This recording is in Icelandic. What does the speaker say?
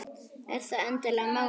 Er það endilega málið?